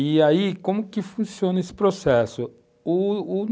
E aí, como que funciona esse processo, o o,